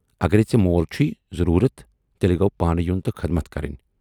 اگرے ژے مول چھُے ضوروٗرتھ، تیلہِ گَو پانہٕ یُن تہٕ خدمت کرٕنۍ۔